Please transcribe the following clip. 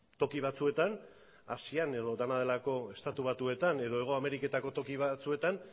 toki batzuetan asian edo dena delako estatu batuetan edo hego ameriketako toki batzuetan